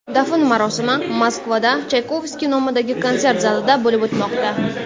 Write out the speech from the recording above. Dafn marosimi Moskvada Chaykovskiy nomidagi konsert zalida bo‘lib o‘tmoqda.